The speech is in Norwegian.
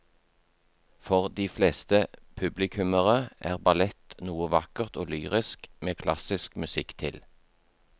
For de fleste publikummere er ballett noe vakkert og lyrisk med klassisk musikk til.